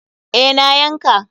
Eh, na yanka.